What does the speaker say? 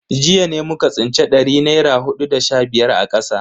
Jiya ne muka tsinci dari naira hudu da sha biyar a kasa.